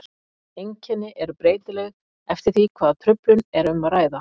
Einkenni eru breytileg eftir því hvaða truflun er um að ræða.